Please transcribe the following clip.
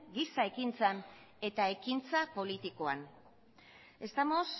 giza ekintzan eta ekintza politikoan estamos